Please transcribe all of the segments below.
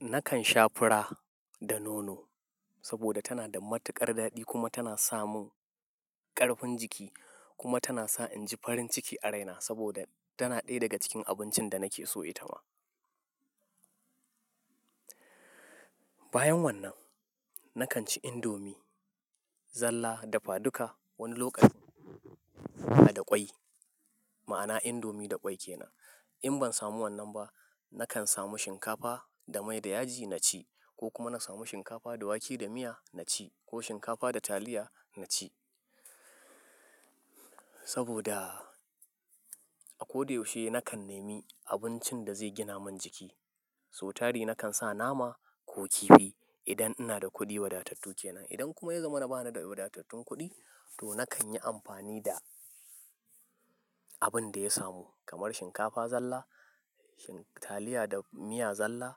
Nakan sha fura da nono saboda tana da matukar daɗi kuma tana samin ƙarfin jiki kuma tana sa in ji farin ciki a raina saboda tana ɗaya daga cikin abincin da nake so ita ma. Bayan wannan, nakan ci indomi, zalla dafaduka wani lokacin in da fa da ƙwai, ma'ana indomi da ƙwai ke nan. In ban samu wannan ba, nakan samu shinkafa da mai da yaji na ci ko kuma na samu shinkafa da wake da miya na ci ko shinkafa da taliya na ci. Saboda a ko da yaushe nakan nemi abincin da zai gina man jiki. So tari nakan sa nama ko kifi idan ina da kuɗi wadatattu ke nan. Idan kuma ya zama na ba ni da wadatattun kuɗi, to nakan yi amfani da abin da ya samu kamar shinkafa zalla, taliya da miya zalla,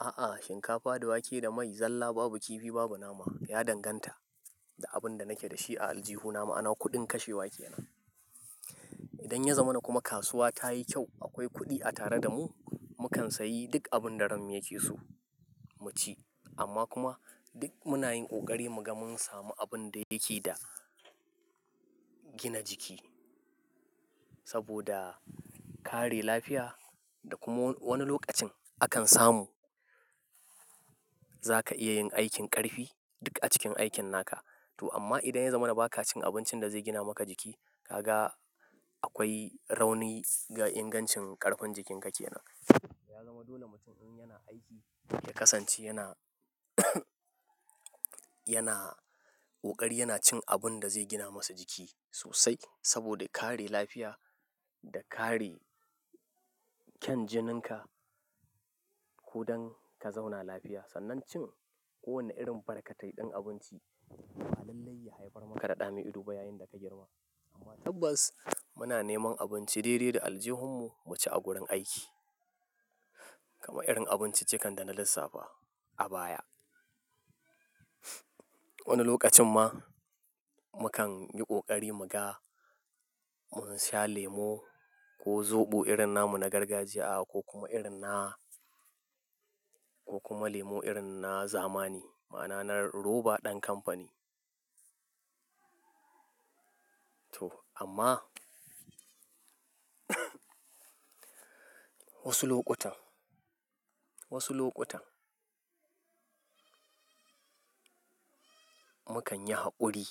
a'a shinkafa da wake da mai zalla babu kifi babu nama ya danganta da abin da nake da shi a aljihuna, ma'ana kuɗin kashewa ke nan. Idan ya zama na kuma kasuwa ta yi kyau, akwai kuɗi a tare da mu, mu kan sayi duk abin da ranmu yake so mu ci amma kuma duk muna yin ƙoƙari mu ga mun samu abun da yake da gina jiki. Saboda kare lafiya da kuma wani lokacin akan samu za ka iya yin aikin ƙarfi duk a cikin aikin naka. To amma idan ya zama na ba ka cikin abincin da zai gina maka jiki, ka ga akwai rauni ga ingancin ƙarfin jikin ka ke nan. To ya zama dole mutum in yana aiki ya kasance yana yana ƙoƙari yana cin abun da zai gina masa jiki sosai saboda kare lafiya da kare kyan jininka ko don ka zauna lafiya. Sannan cin kowane irin barkatai ɗin abinci ba lalle ya haifar maka da ɗa mi ido ba yayin da ka girma. Amma tabbas muna neman abinci daidai da aljihunmu mu ci a gurin aiki. Kamar irin abinci cikan da na lissafa a baya. Wani lokacin ma mu kan yi ƙoƙari mu ga mun sha lemo ko zobo irin na mu na gargajiya ko kuma irin na-- ko kuma lemo irin na zamani ma'ana na roba ɗan kamfani. To amma wasu lokutan, wasu lokutan mu kan yi haƙuri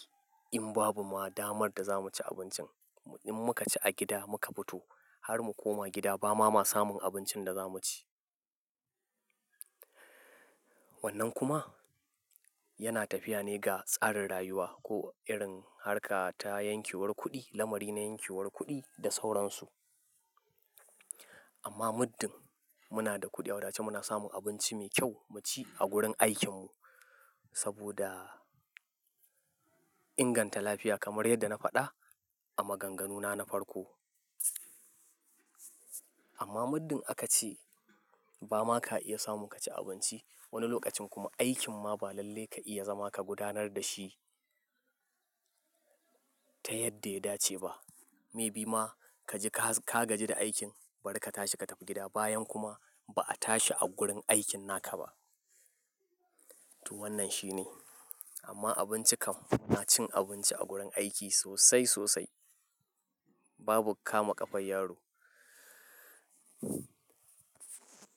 in babu ma damar da za mu ci abincin. In muka ci a gida muka fito har mu koma gida ba ma samun abincin da za mu ci. Wannan kuma yana tafiya ne ga tsarin rayuwa ko irin harka ta yankewar kuɗi, lamari na yankewar kuɗi da sauransu. Amma muddin muna da kuɗi a wadace muna samun abinci mai kyau mu ci a gurin aikinmu saboda inganta lafiya kamar yadda na faɗa a maganganuna na farko. Amma muddin aka ce ba ma ka iya samun ka ci abinci wani lokacin kuma aikin ma ba lalle ka iya zama ka gudanar da shi ta yadda ya dace ba. Maybe ma ka ji ka gajin da aikin barka tashi ka tafi gida bayan kuma ba a tashi a gurin aikin naka ba. To wannan shi ne. Amma abinci kam muna cin abinci a gurin aiki sosai sosai. Babu kama kafar yaro.